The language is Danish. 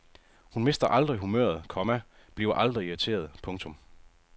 Hun mister aldrig humøret, komma bliver aldrig irriteret. punktum